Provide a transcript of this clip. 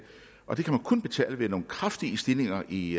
og det kan de kun betale ved nogle kraftige stigninger i